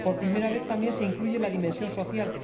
Por primera vez, también, se incluye la dimensión social.